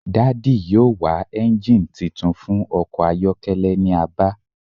Daddy yoo wa engine titun fun ọkọ ayọkẹlẹ ni Aba